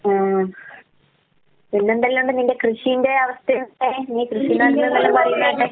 ഉം പിന്നെ എന്തല്ലാണ്ട് നിന്റെ കൃഷീന്റെ അവസ്ഥ എന്തായി നീ കൃഷി നടുന്നൂന്ന് എല്ലാം പറയുന്ന കേട്ട്.